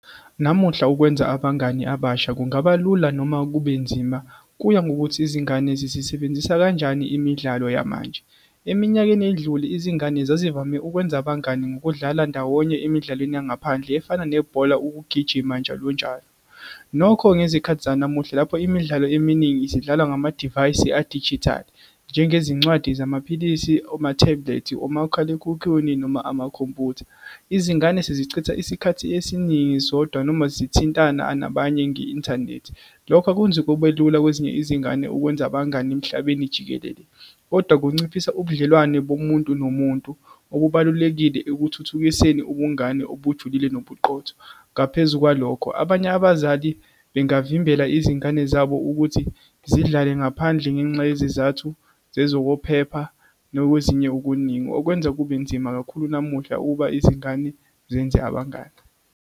Namuhla ukwenza abangani abasha kungaba lula, noma kubenzima, kuya ngokuthi izingane zizisebenzisa kanjani imidlalo yamanje. Eminyakeni edlule, izingane zazivame ukwenza abangani ngokudlala ndawonye emidlalweni yangaphandle, efana nebhola, ukugijima, njalonjalo. Nokho, ngezikhathi zanamuhla, lapho imidlalo eminingi isidlalwa ngamadivayisi adijithali, njengezincwadi zamaphilisi, oma-tablet, omakhalekhukhwini, noma amakhompyutha. Izingane sezicishe isikhathi esiningi zodwa, noma zithintana nabanye nge-inthanethi, lokho akwenzi kube lula kwezinye izingane ukwenza abangani emhlabeni jikelele, kodwa kunciphisa ubudlelwane bomuntu nomuntu, okubalulekile ekuthuthukiseni ubungane obujulile nobuqotho. Ngaphezu kwalokho, abanye abazali bengavimbela izingane zabo ukuthi zidlale ngaphandle, ngenxa yezizathu zezokwephepha, nakwezinye okuningi, okwenza kube nzima kakhulu namuhla ukuba izingane zenze abangani.